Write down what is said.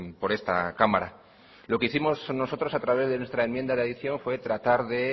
por esta cámara lo que hicimos nosotros a través de nuestra enmienda de adición fue tratar de